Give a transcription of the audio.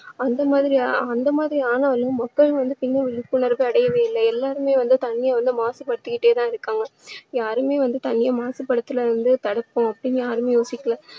அந்த மாதிரி அந்த மாதிரி ஆனா~ மக்கள் வந்து இன்னும் விழிப்புணர்வு அடையவே இல்லை எல்லாருமே வந்து தண்ணீரை வந்து மாசுபடுத்திக்கிட்டே தான் இருக்காங்க. யாருமே வந்து தண்ணீரை மாசுபடுத்துறதுல இருந்து தடுப்போம் அப்படின்னு யாருமே யோசிக்கலை.